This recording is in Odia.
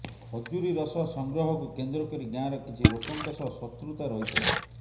ଖଜୁରୀ ରସ ସଂଗ୍ରହକୁ କେନ୍ଦ୍ର କରି ଗାଁର କିଛି ଲୋକଙ୍କ ସହ ଶତ୍ରୁତା ରହିଥିଲା